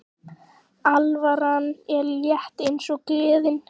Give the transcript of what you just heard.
Alvaran er létt eins og gleðin.